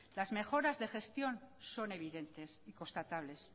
las mejoras de gestión son evidentes y constatables